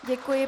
Děkuji.